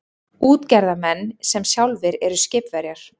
Útgerðarmenn sem sjálfir eru skipverjar.